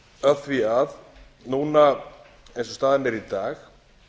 af því að núna eins og staðan er í dag